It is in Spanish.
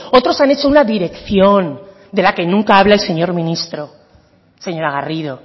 otros han hecho una dirección de la que nunca habla el señor ministro señora garrido